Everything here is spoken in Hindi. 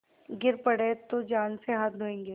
गिर पड़े तो जान से हाथ धोयेंगे